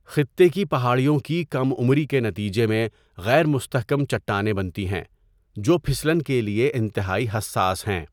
خطے کی پہاڑیوں کی کم عمری کے نتیجے میں غیر مستحکم چٹانیں بنتی ہیں، جو پھسلن کے لیے انتہائی حساس ہیں۔